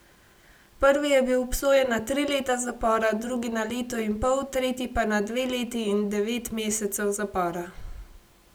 Prvi je bil obsojen na tri leta zapora, drugi na leto in pol, tretji pa na dve leti in devet mesecev zapora.